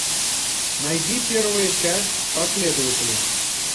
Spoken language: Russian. найди первая часть последователи